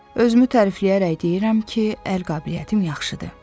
Özümü tərifləyərək deyirəm ki, əl qabiliyyətim yaxşıdır.